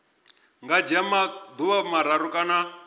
nga dzhia maḓuvha mararu kana